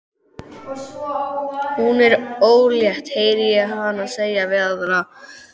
Hún er ólétt, heyri ég hana segja við aðra.